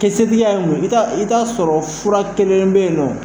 Kisɛtigiya mun ye, i ta i ta sɔrɔ fura kelen bɛ yen nɔn.